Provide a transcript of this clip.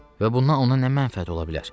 Və bundan ona nə mənfəət ola bilər?